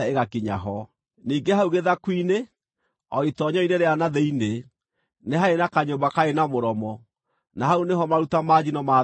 Ningĩ hau gĩthaku-inĩ, o itoonyero-inĩ rĩa na thĩinĩ, nĩ haarĩ na kanyũmba kaarĩ na mũromo, na hau nĩho maruta ma njino maathambagĩrio.